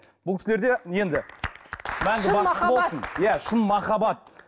бұл кісілерде енді шын махаббат иә шын махаббат